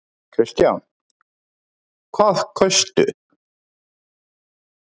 Kristján: Hvað kaustu?